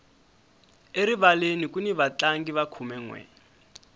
erivaleni kuni vatlangi va khumenwe